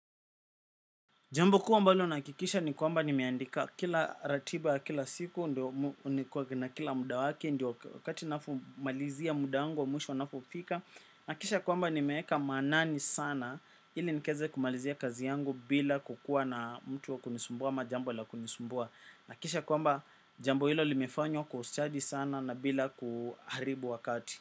Jambu kuu ambalo nahakikisha ni kwamba nimeandika kila ratiba, kila siku, na kila muda wake, ndio wakati nafumalizia muda angu wa mwisho napofika. Nakisha kwamba nimeeka manani sana ili nikaeze kumalizia kazi yangu bila kukuwa na mtu wa kunisumbua ama jambo la kunisumbua. Nakisha kwamba jambo hilo limefanywa kwa ustadi sana na bila kuharibu wakati.